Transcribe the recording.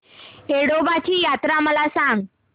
येडोबाची यात्रा मला सांग